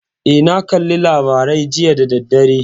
Eh, na kalla labarai jiya da daddare.